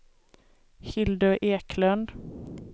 Hildur Eklund